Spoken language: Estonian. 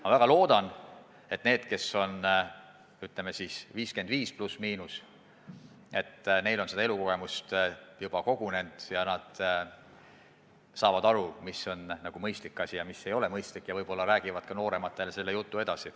Ma väga loodan, et neil, kes on, ütleme, 55+/–, on elukogemust juba kogunenud ja nad saavad aru, mis on mõistlik ja mis ei ole mõistlik, ja võib-olla nad räägivad ka noorematele selle jutu edasi.